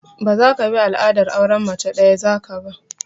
Ba zaka bi al'adar auren mace ɗaya za ka ba!